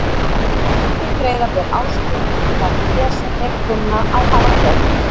Endurgreiða ber áskrifendum það fé sem þeir kunna að hafa greitt.